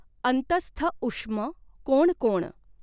अंतस्थ उष्म कोण कोण।